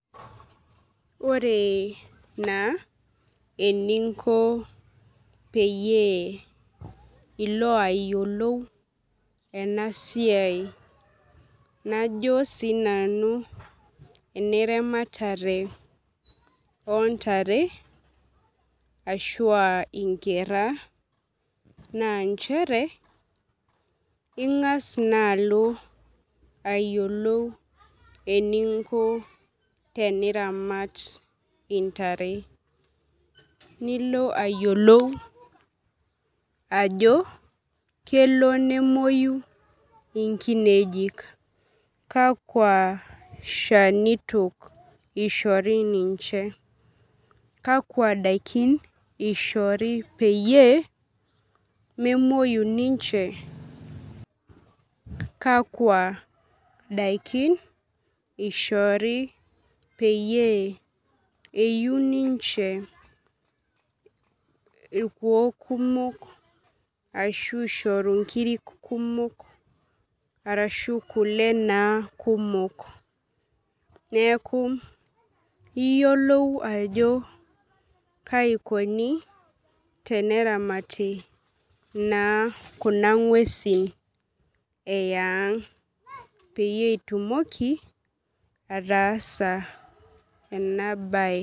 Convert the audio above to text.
Ore na eninko peyie iko ayiolou enasiai najo na sinanu eneramatare ontare ashu nkera na nchere ingas naaa alo ayiolou teninko teneramatbntare nilo ayiolou ajo kelo nemwoyu inkinejik kakwa shanito ishori ninche kakwa dakin ishori peyie memoi ninche kakwa dakin ishori peyie eiu ninche irkuon kumok ashu nkirik kumok ashu kule kumok neaku iyiolou ajo kaikuni teneramati kuna ngwesi eang peitumoki ataasa enabae